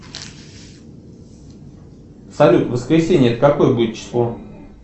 салют воскресенье это какое будет число